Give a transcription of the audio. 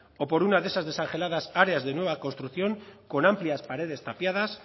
o por una de esas desangeladas áreas de nueva construcción con amplias paredes tapiadas